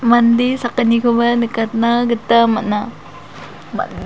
mande sakgnikoba nikatna gita man·a man--